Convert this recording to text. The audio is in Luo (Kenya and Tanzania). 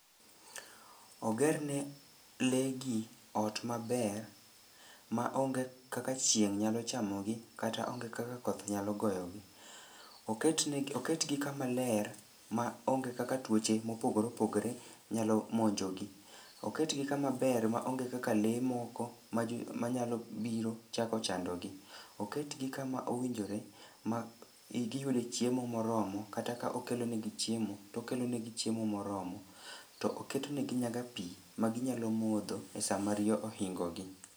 Ogerne lee gi ot maber ma onge kaka chieng' nyalo chamogi kata onge kaka koth nyalo goyogi. Oketgi kama ler ma onge kaka tuoche mopogore opogore nyalo monjogi. Oketgi kamaber maonge kaka lee moko manyalo biro chako chandogi. Oketgi kama owinjore ma giyude chiemo moromo kata ka okelonegi chiemo to okelonegi chiemo moromo to oketnegi nyaka pi maginyalo modho e sama riyo ohingogi.